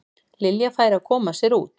Lilja færi að koma sér út.